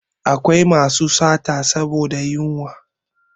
Akwai masu sata saboda yunwa